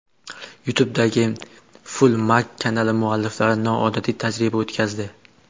YouTube’dagi FullMag kanali mualliflari noodatiy tajriba o‘tkazdi .